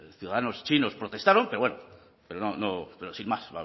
ciudadanos chinos protestaron pero bueno pero no pero sin más